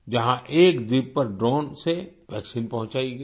जहां एक द्वीप पर ड्रोन से वैक्सीन पहुंचाई गईं